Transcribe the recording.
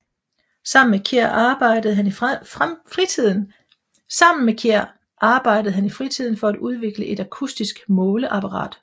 Sammen med Kjær arbejde han i fritiden med at udvikle et akustisk måleapparat